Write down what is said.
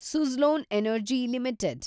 Suzlon energy limited